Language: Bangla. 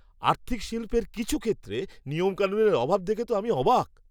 আর্থিক শিল্পের কিছু ক্ষেত্রে নিয়মকানুনের অভাব দেখে তো আমি অবাক!